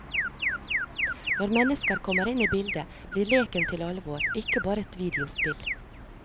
Når mennesker kommer inn i bildet, blir leken til alvor, ikke bare et videospill.